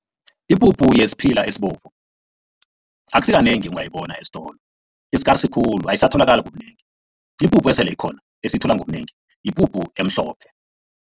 Ipuphu yesiphila esibovu akusikanengi ungayibona esitolo, i-skaars khulu ayisatholakali ngobunengi. Ipuphu esele ikhona esiyithola ngobunengi, yipuphu emhlophe.